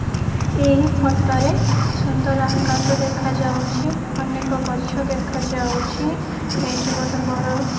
ଏହି ଫୋଟରେ ସୁନ୍ଦର ଆକାଶ ଦେଖାଯାଉଛି ଅନେକ ଗଛ ଦେଖାଯାଉଛି ଏଇଠି ଗୋଟେ ବଡ଼--